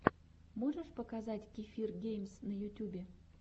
можешь показать кефир геймс на ютюбе